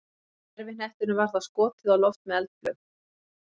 gervihnettinum var þá skotið á loft með eldflaug